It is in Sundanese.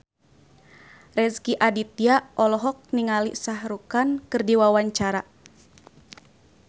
Rezky Aditya olohok ningali Shah Rukh Khan keur diwawancara